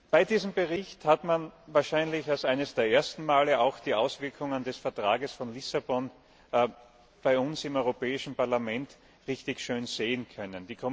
Bei diesem Bericht hat man wahrscheinlich mit zum ersten Mal die Auswirkungen des Vertrags von Lissabon bei uns im Europäischen Parlament richtig schön sehen können.